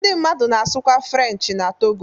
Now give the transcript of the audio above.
Ndị mmadụ na-asụkwa Frenchị n'Togo.